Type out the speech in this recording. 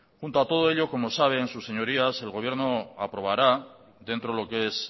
junto a todo ello como saben sus señorías el gobierno aprobará dentro de lo que es